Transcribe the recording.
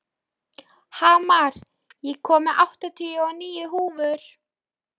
Hamar, ég kom með áttatíu og níu húfur!